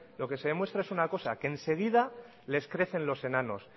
lo que se demuestra es una cosa que enseguida les crecen los enanos